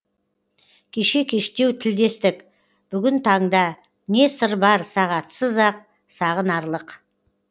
кеше кештеу тілдестік бүгін таңда не сыр бар сағатсыз ақ сағынарлық